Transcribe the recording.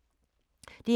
DR2